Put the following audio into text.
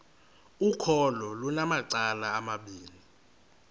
ukholo lunamacala amabini